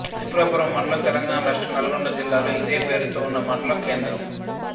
త్రిపురారం మండలం తెలంగాణ రాష్ట్రం నల్గొండ జిల్లాలో ఇదే పేరుతో ఉన్న మండల కేంద్రం